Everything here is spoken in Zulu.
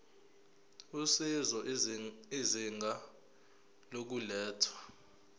usizo izinga lokulethwa